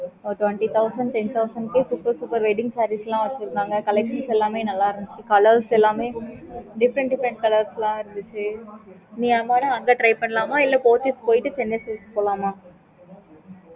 okay mam